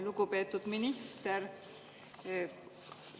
Lugupeetud minister!